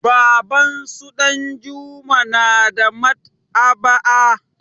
Babansu Ɗanjuma na da Maɗ'aba'a.